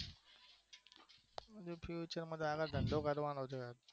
બીજું શું આગળ ધંધો કરવાનો છે